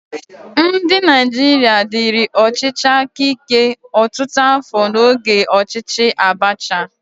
Ndị Naijiria diri ọchịchị aka ike ọtụtụ afọ n'oge ọchịchị Abacha.